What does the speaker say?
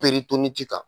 kan